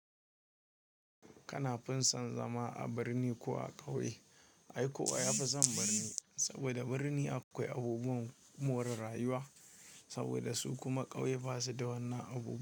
Kana fi son zama a birni ko a ƙauye? Ai ko a yafi son birni saboda birni akwai abubuwan more rayuwa saboda su kuma ƙauye basu da wannan abu.